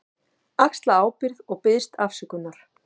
Axla ábyrgð og biðst afsökunar.